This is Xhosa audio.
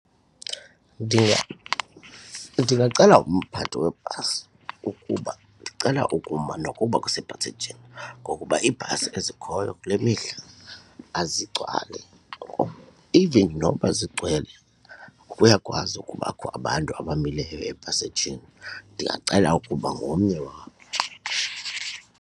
Ndingacela umphathi webhasi ukuba ndicela ukuma nokuba kusephasejini ngokuba iibhasi ezikhoyo kule mihla azigcwali or even noba zigcwele kuyakwazi ukubakho abantu abamileyo epasejini ndingacela ukuba ngomnye wabo.